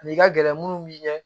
N'i ka gɛlɛn minnu bi ɲɛ